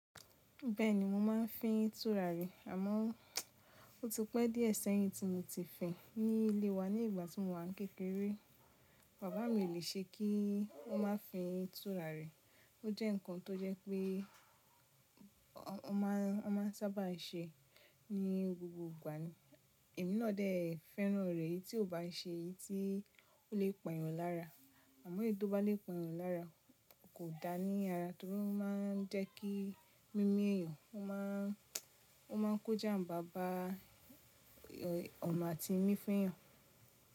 Bẹ́ẹ̀ni mo máa ń fín turari àmọ́ ó ti pẹ́ díẹ̀ sẹ́yìn tí mo ti fìn ní ilé wa ní ìgbà tí mo wà ń kékeré. Bàbá mi ò le ṣe kí ó má fin turari. Ó jẹ́ ǹkan tó jẹ́ pé ó máa n sáábà se ní gbogbo ìgbà ní. Èmi náà dè fẹ́ràn rẹ̀ èyí tí ò bá ṣe èyí tí ó le pẹ̀yàn lára. Àmọ́ èyí tó bá lè pẹ̀yàn lára kò dáa ní ara torí ó má ń jẹ́ kí mí mí ẹ̀yàn ó máa Ó má n kó jàmbà bá ọ̀nà àti mí fún ẹ̀yàn.